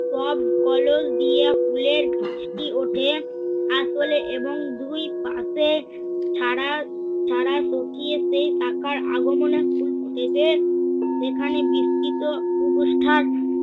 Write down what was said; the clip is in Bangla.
টব কলস দিয়ে ফুলের গাছটি উঠে। আসলে এবং দুই পাশে ছাড়া ছাড়া সকিয়ে সেই শাখার আগমনে ফুল ফুটেছে যেখানে বিস্তৃত